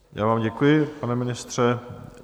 Já vám děkuji, pane ministře.